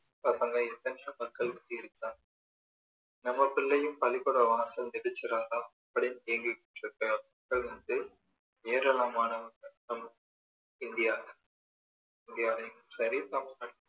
பசங்க எத்தனையோ மக்கள் வந்து இருக்காங்க நம்ம பிள்ளையும் பள்ளிக்கூடம் வாசல் மிதிச்சிடாதா அப்படின்னு ஏங்கிக்கிட்டு இருக்கிற மக்கள் வந்து ஏராளமானவங்க நம்ம இந்தியால இந்தியாலேயும் சரி தமிழ்நாட்டுளையும்